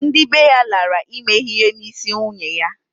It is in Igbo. Ndị bee ya lara ime ihe n'isi nyunye ya